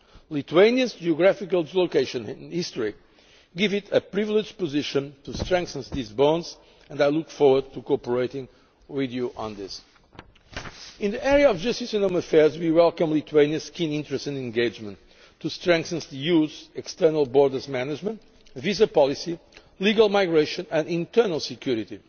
Lithuania's geographical location and history give it a privileged position to strengthen these bonds, and I look forward to cooperating with you on this. In the area of justice and home affairs, we welcome Lithuania's keen interest and engagement in strengthening the EU's external borders management, visa policy, legal migration and internal security.